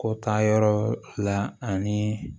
Ko taa yɔrɔ la ani